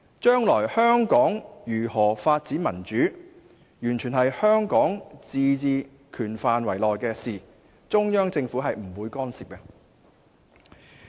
將來香港如何發展民主，完全是香港自治權範圍內的事，中央政府不會干涉。